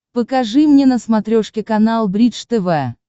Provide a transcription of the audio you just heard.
покажи мне на смотрешке канал бридж тв